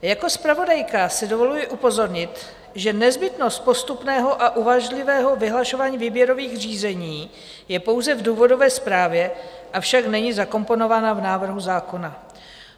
Jako zpravodajka si dovoluji upozornit, že nezbytnost postupného a uvážlivého vyhlašování výběrových řízení je pouze v důvodové zprávě, avšak není zakomponována v návrhu zákona.